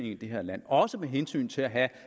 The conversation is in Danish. i det her land også med hensyn til at have